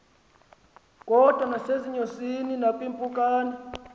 kodwa nasezinyosini nakwiimpukane